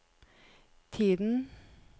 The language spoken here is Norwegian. tiden